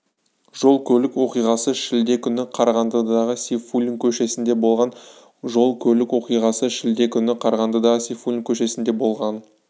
жол-көлік оқиғасы шілде күні қарағандыдағы сейфуллин көшесінде болған жол-көлік оқиғасы шілде күні қарағандыдағы сейфуллин көшесінде болған